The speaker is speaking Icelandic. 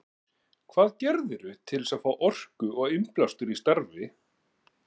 Hvað gerirðu til að fá orku og innblástur í starfi?